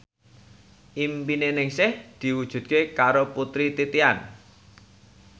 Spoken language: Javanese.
impine Ningsih diwujudke karo Putri Titian